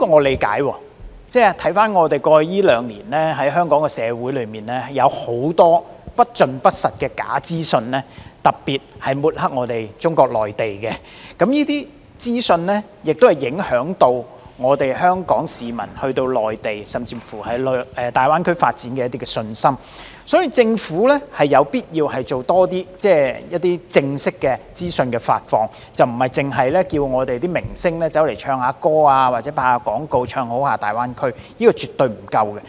回看過去兩年，香港社會有很多不盡不實和特別旨在抹黑中國內地的假資訊，這些資訊會影響香港市民前往內地或大灣區發展的信心，所以政府有必要多做正式的資訊發放，而不應只請明星唱歌或拍攝廣告"唱好"大灣區，這是絕對不夠的。